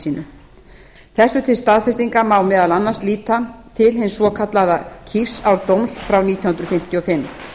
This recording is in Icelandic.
sínu þessu til staðfestingar má meðal annars líta til hins svokallaða hrísárdóms frá nítján hundruð fimmtíu og fimm